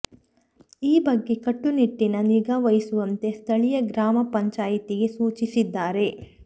ಈ ಬಗ್ಗೆ ಕಟ್ಟುನಿಟ್ಟಿನ ನಿಗಾವಹಿಸುವಂತೆ ಸ್ಥಳೀಯ ಗ್ರಾಮ ಪಂಚಾಯಿತಿಗೆ ಸೂಚಿಸಿ ದ್ದಾರೆ